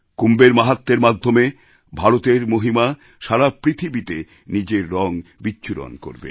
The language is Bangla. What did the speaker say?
কুম্ভেরমাহাত্ম্যের মাধ্যমে ভারতের মহিমা সারা পৃথিবীতে নিজের রং বিচ্ছুরণ করবে